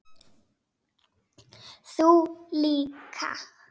Þú líka?